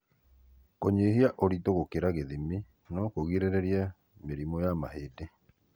kũnyihia ũritũ gũkĩra gĩthimi no kũgirĩrĩrie mĩrimũ ya mahĩndi.